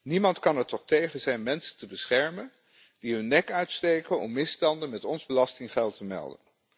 Niemand kan er toch tegen zijn mensen te beschermen die hun nek uitsteken om misstanden met ons belastinggeld te melden?